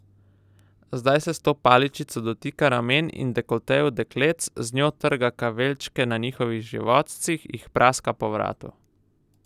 Zdaj se s to paličico dotika ramen in dekoltejev dekletc, z njo trga kaveljčke na njihovih životcih, jih praska po vratu.